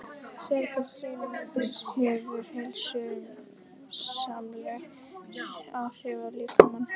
Sérhver hreyfing hefur heilsusamleg áhrif á líkamann.